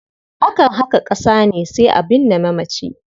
Akan haƙa ƙasa ne sai a binne mamaci.